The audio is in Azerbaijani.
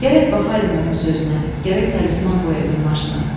Gərək baxaydım onun sözünə, gərək talisman qoyaydım maşına.